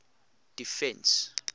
defence